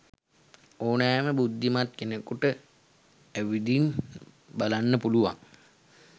ඕනෑම බුද්ධිමත් කෙනෙකුට ඇවිදින් බලන්න පුළුවන්